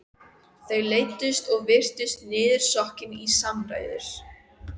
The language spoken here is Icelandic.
Þau leiddust og virtust niðursokkin í samræður.